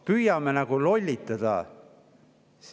Püüame nagu inimesi lollitada.